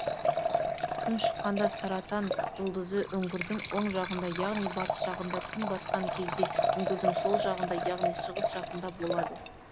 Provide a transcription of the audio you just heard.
күн шыққанда саратан жұлдызы үңгірдің оң жағында яғни батыс жағында күн батқан кезде үңгірдің сол жағында яғни шығыс жағында болады